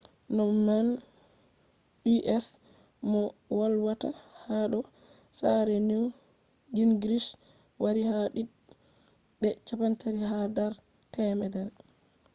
mo nane u.s. moh volwata hado sare newt gingrich wari ha did be 32 ha dar 100